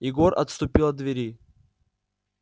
егор отступил от двери